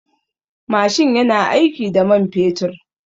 Mashin yana aiki da man fetur.